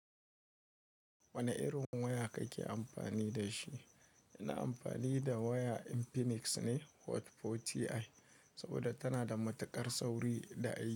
Wane irin waya kake amfani da shi? Ina amfani da waya Infinix ne Hot 40i saboda tana da matuƙar sauri da aiki.